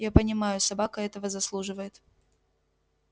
я понимаю собака этого заслуживает